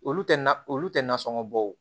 Olu tɛ na olu tɛ na sɔngɔ bɔ